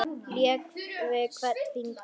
Lék við hvern sinn fingur.